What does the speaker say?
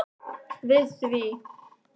við því.